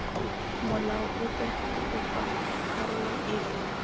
molao ope kopa karolo epe